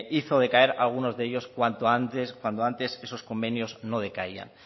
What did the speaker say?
hizo decaer algunos de ellos cuando antes esos convenios no decaían